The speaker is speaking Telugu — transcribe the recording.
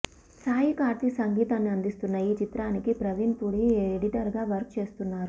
సాయి కార్తిక్ సంగీతాన్ని అందిస్తున్న ఈ చిత్రానికి ప్రవీణ్ పుడి ఎడిటర్ గా వర్క్ చేస్తున్నారు